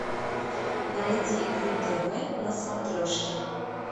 найди ру тв на смотрешке